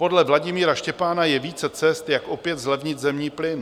Podle Vladimíra Štěpána je více cest, jak opět zlevnit zemní plyn.